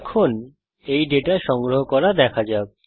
এখন এই ডেটা সংগ্রহ করা দেখা যাক